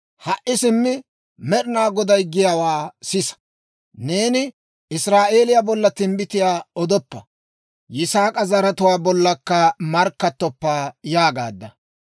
Ha"i simmi Med'inaa Goday giyaawaa sisa! Neeni, ‹Israa'eeliyaa bolla timbbitiyaa odoppa; Yisaak'a zaratuwaa bollakka markkattoppa› yaagaadda.